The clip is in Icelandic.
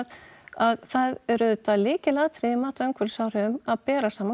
að það eru auðvitað lykilatriði í mati á umhverfisáhrifum að bera saman